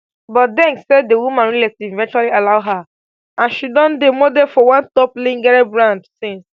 but deng say di woman relatives eventually allow her and she don dey model for one top lingerie brand since